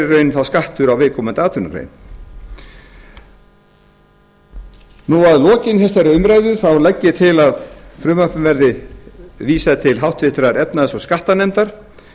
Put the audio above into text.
raun þá skattur á viðkomandi atvinnugrein að lokinni þessari umræðu þá legg ég til að frumvarpinu verði vísað til háttvirtrar efnahags og skattanefndar